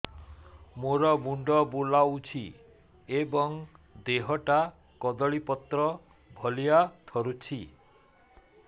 ମୋର ମୁଣ୍ଡ ବୁଲାଉଛି ଏବଂ ଦେହଟା କଦଳୀପତ୍ର ଭଳିଆ ଥରୁଛି